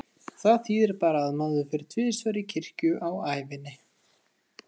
Það þýðir bara að maður fer tvisvar í kirkju á ævinni.